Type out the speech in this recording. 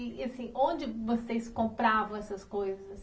E assim, onde vocês compravam essas coisas?